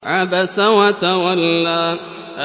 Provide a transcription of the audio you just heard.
عَبَسَ وَتَوَلَّىٰ